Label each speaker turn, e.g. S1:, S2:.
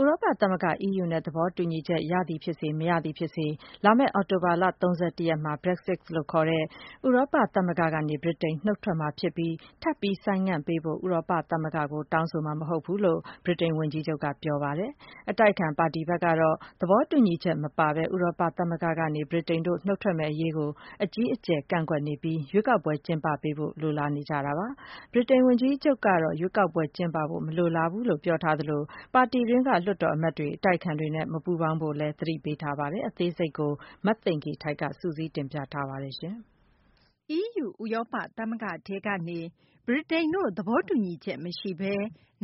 S1: ဥရောပ သမဂ္ဂ EU နဲ့ သဘောတူညီချက် ရသည် ဖြစ်စေ မရသည် ဖြစ်စေ လာမယ့် အောက်တိုဘာလ ၃၁ ရက်နေ့မှာ Brexit လို့ခေါ်တဲ့ ဥရောပ သမဂ္ဂကနေ ဗြိတိန် နုတ်ထွက်မှာ ဖြစ်ပြီး ထပ်ပြီး ဆိုင်းငံ့ပေးဖို့ ဥရောပသမဂ္ဂကို တောင်းဆိုမှာ မဟုတ်ဘူးလို့ ဗြိတိန် ဝန်ကြီးချုပ်က ပြောဆိုလိုက်ပါတယ်။ အတိုက်အခံ ပါတီဘက်ကတော့ သဘောတူညီချက် မပါဘဲ ဥရောပ သမဂ္ဂကနေ ဗြိတိန်တို့ နုတ်ထွက်မယ့် အရေးကို အကြီးကျယ် ကန့်ကွက်နေပြီး ရွေးကောက်ပွဲ ကျင်းပပေးဖို့ လိုလားနေကြတာပါ။ ဗြိတိန် ဝန်ကြီးချုပ်ကတော့ ရွေးကောက်ပွဲ ကျင်းပဖို့ မလိုလားဘူးလို့ ပြောဆိုထားသလို ပါတီတွင်းက လွှတ်တော် အမတ်တွေ အတိုက်အခံတွေနဲ့ မပူးပေါင်းဖို့လည်း သတိပေးထားပါတယ်။ အသေးစိတ်ကို မသိင်္ဂ ီထိုက် စုစည်းတင်ပြထားပါတယ်။
S2: EU ဥရောပ သမဂ္ဂထဲကနေ ဗြိတိန်တို့ သဘောတူညီချက် မရှိဘဲ